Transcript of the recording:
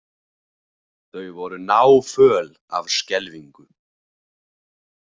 Þau voru náföl af skelfingu.